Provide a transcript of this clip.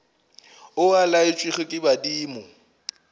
o a laetšwego ke badimo